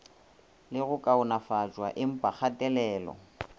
le go kaonafatpwa empa kgatelelo